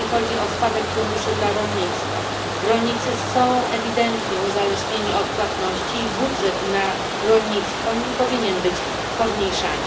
Jeśli chodzi o spadek funduszy dla rolnictwa, rolnicy są ewidentnie uzależnieni od płatności i budżet na rolnictwo nie powinien być pomniejszany.